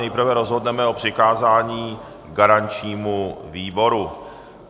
Nejprve rozhodneme o přikázání garančnímu výboru.